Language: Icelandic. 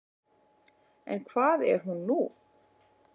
En hvað er hún nú?